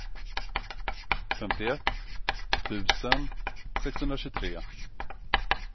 femtioett tusen sexhundratjugotre